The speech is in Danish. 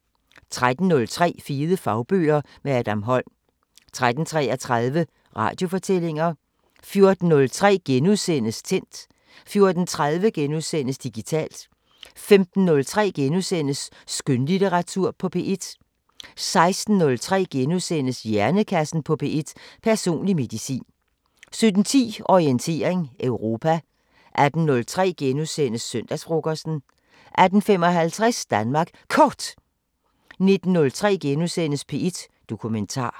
13:03: Fede fagbøger – med Adam Holm 13:33: Radiofortællinger 14:03: Tændt * 14:30: Digitalt * 15:03: Skønlitteratur på P1 * 16:03: Hjernekassen på P1: Personlig medicin * 17:10: Orientering Europa 18:03: Søndagsfrokosten * 18:55: Danmark Kort 19:03: P1 Dokumentar *